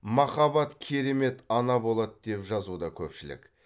махаббат керемет ана болады деп жазуда көпшілік